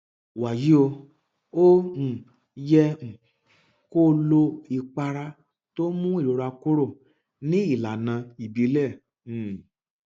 wàyí o o um yẹ um kó o lo ìpara tó ń mú ìrora kúrò ní ìlànà ìbílẹ um